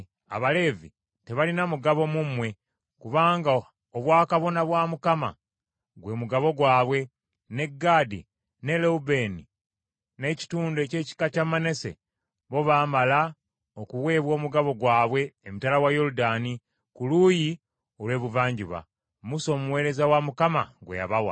Abaleevi tebalina mugabo mu mmwe kubanga obwakabona bwa Mukama gwe mugabo gwabwe, ne Gaadi, ne Lewubeeni n’ekitundu eky’ekika kya Manase bo baamala okuweebwa omugabo gwabwe emitala wa Yoludaani ku luuyi olw’ebuvanjuba, Musa omuweereza wa Mukama gwe yabawa.”